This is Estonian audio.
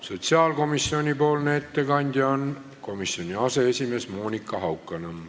Sotsiaalkomisjoni ettekandja on komisjoni aseesimees Monika Haukanõmm.